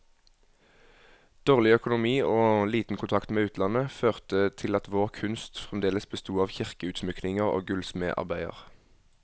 Dårlig økonomi og liten kontakt med utlandet, førte til at vår kunst fremdeles besto av kirkeutsmykninger og gullsmedarbeider.